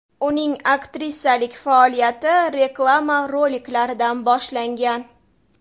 Uning aktrisalik faoliyati reklama roliklaridan boshlangan.